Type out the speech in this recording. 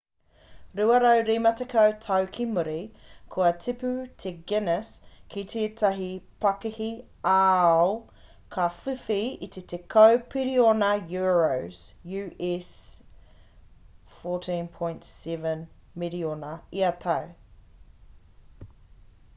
250 tau ki muri kua tipu te guinness ki tētahi pakihi ā-ao ka whiwhi i te 10 piriona euros us$14.7 piriona ia tau